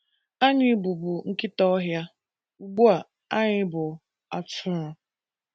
Anyị Bụbu Nkịta Ọhịa — Ugbu A Anyị Bụ Atụrụ!